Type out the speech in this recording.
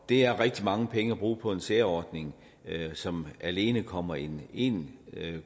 det er rigtig mange penge at bruge på en særordning som alene kommer én én